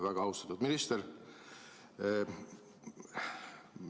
Väga austatud minister!